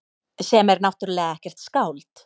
Sem er náttúrlega ekkert skáld.